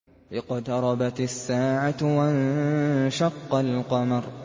اقْتَرَبَتِ السَّاعَةُ وَانشَقَّ الْقَمَرُ